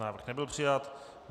Návrh nebyl přijat.